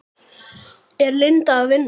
Er Linda að vinna?